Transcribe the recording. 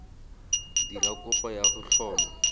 dira kopo ya go tlhoma